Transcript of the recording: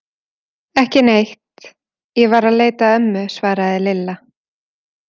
Ekki neitt, ég var að leita að ömmu svaraði Lilla.